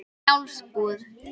Njálsbúð